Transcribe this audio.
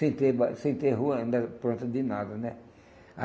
Sem ter sem ter rua, ainda não era pronta de nada, né?